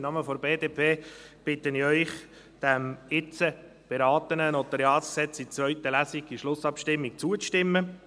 Im Namen der BDP bitte ich Sie, diesem jetzt beratenen NG in der Schlussabstimmung zur zweiten Lesung zuzustimmen.